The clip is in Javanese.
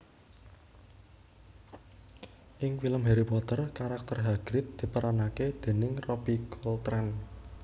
Ing film Harry Potter karakter Hagrid diperanaké déning Robbie Coltrane